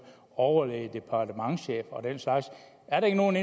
overlæge departementschef og den slags er der ikke nogen